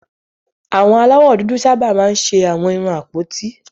Àwọn aláwọ̀ dúdú sábà máa ń ṣe àwọn irun àpótí